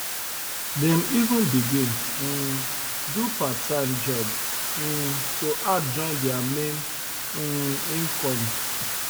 dem even begin um do parttime job um to add join their main um income